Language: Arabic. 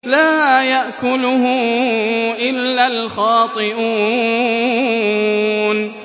لَّا يَأْكُلُهُ إِلَّا الْخَاطِئُونَ